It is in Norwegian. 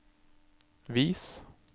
vis